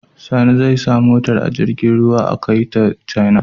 Sani zai sa motar a jirgin ruwan a kai ta china